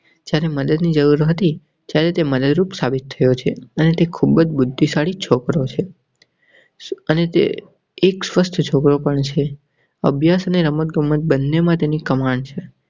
તેને મદદની જરૂર હતી ત્યારે તે મદદ રૂપ સાબિત થયો છે અને ખૂબ બુદ્ધિશાળી છોકરો છે અને તે એક સ્પષ્ટ છોકરો પણ છે. અભ્યાસ રમત ગમત બન્ને માં એની કમાન છે.